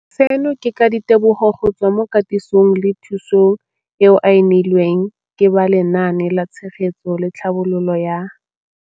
Seno ke ka ditebogo go tswa mo katisong le thu song eo a e neilweng ke ba Lenaane la Tshegetso le Tlhabololo ya